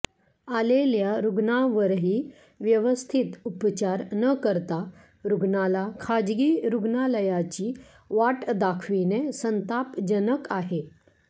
आलेल्या रुग्णांवरही व्यवस्थित उपचार न करता रुग्णाला खाजगी रुग्णालयाची वाट दाखविणे संतापजनक आहे